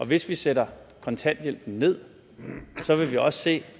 hvis vi sætter kontanthjælpen ned vil vi også se